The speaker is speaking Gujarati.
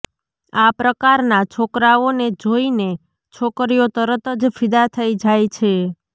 આ પ્રકારના છોકરાઓને જોય ને છોકરીઓ તરત જ ફિદા થઈ જાય છે